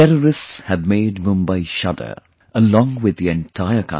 Terrorists had made Mumbai shudder... along with the entire country